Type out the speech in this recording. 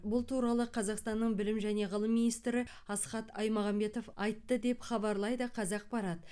бұл туралы қазақстанның білім және ғылым министрі асхат аймағамбетов айтты деп хабарлайды қазақпарат